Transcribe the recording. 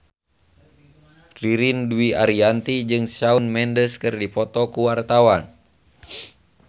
Ririn Dwi Ariyanti jeung Shawn Mendes keur dipoto ku wartawan